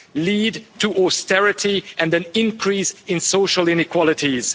lead to austerity and an increase in social inequalities.